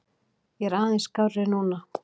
Ég er aðeins skárri núna.